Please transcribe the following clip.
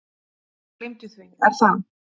Gleymdu því Er það?